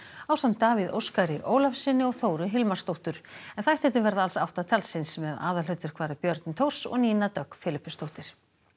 ásamt Davíð Óskari Ólafssyni og Þóru Hilmarsdóttur en þættirnir verða alls átta talsins með aðalhlutverk fara Björn Thors og Nína Dögg Filippusdóttir